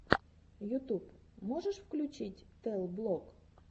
ютуб можешь включить тэл блог